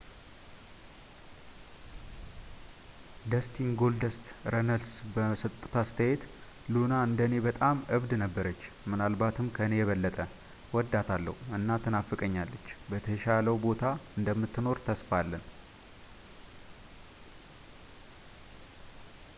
ደስቲን ጎልደስት” ረነልስ በሰጡት አስተያየት ሉና እንደ እኔ በጣም እብድ ነበረች ምናልባት ከኔ የበለጠ እወዳታለሁ እና ትናፍቀኛለች በተሻለው ቦታ እንደምትኖር ተስፋ አለን።